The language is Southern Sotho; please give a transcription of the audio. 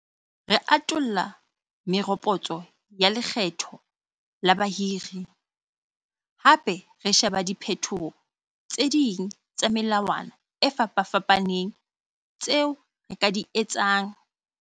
Re atolla meropotso ya lekgetho la bahiri, hape re sheba diphetoho tse ding tsa melawana e fapafapaneng tseo re ka di etsetsang ho thusa dikgwebo tse nyenyane hore di hire batho ba bangata ho feta pele.